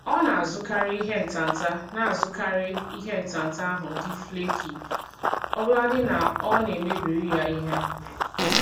Ọ na-azụkarị ihe ntanta na-azụkarị ihe ntanta ahụ dị flaky ọbụladị na ọ na-emebiri ya ihe.